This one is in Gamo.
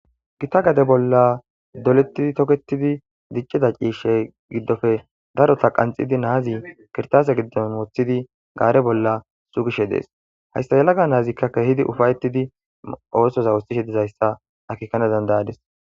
gita gade bolla dolettidi toketidi diccida ciishshe giddofe darota qanxidi naazi kirtase giddon woththidi gaare bolla sugishe dees hayssa elaga naazikka kehidi ufayettidi oosoza wustishe dizayssa akikane dandayadis